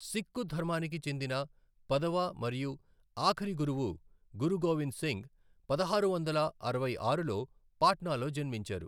సిక్కు ధర్మానికి చెందిన పదవ మరియు ఆఖరి గురువు గురు గోవింద్ సింగ్ పదహారు వందల అరవై ఆరులో పాట్నాలో జన్మించారు.